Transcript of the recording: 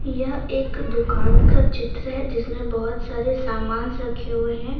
यह एक दुकान का चित्र है जिसमें बहुत सारे सामान रखे हुए हैं।